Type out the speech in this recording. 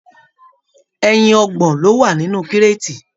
Ẹyin ọgbọ̀n lo wà nínú kireti.